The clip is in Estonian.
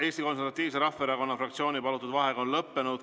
Eesti Konservatiivse Rahvaerakonna fraktsiooni palutud vaheaeg on lõppenud.